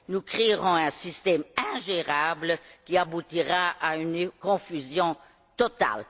Nous allons créer un système ingérable qui aboutira à une confusion totale.